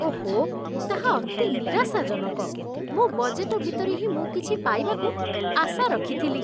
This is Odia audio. ଓଃ, ତାହା ଅତି ନିରାଶାଜନକ। ମୋ ବଜେଟ ଭିତରେ ହିଁ ମୁଁ କିଛି ପାଇବାକୁ ଆଶା ରଖିଥିଲି।